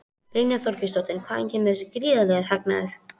Brynja Þorgeirsdóttir: Hvaðan kemur þessi gríðarlegi hagnaður?